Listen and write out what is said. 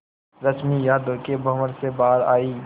रश्मि यादों के भंवर से बाहर आई